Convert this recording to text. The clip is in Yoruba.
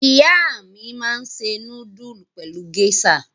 Ìyá mi máa ń se núdúlù pẹ̀lú géíṣà.